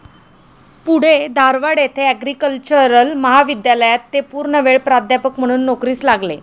पुढे धारवाड येथे आग्रिकल्चरल महाविद्यालयात ते पूर्णवेळ प्राध्यापक म्हणून नोकरीस लागले.